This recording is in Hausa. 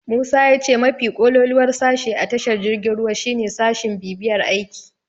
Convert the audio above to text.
Musa ya ce mafi kololuwar sashe a tashar jirgin ruwa shine sashin bibiyar aiki.